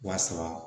Wa saba